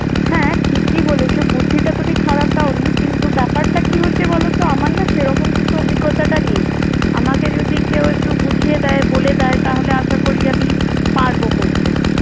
হ্যাঁ, ঠিকই বলেছ। বুদ্ধিটা তুমি খারাপ দাওনি। কিন্তু ব্যাপারটা কি হয়েছে বলতো? আমার না সেরকম কিছু অভিজ্ঞতাটা নেই। আমাকে যদি কেউ একটু বুঝিয়ে দেয়, বলে দেয়, তাহলে আশা করি আমি পারবো করতে।